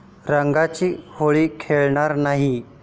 रंगाची होळी खेळणार नाही'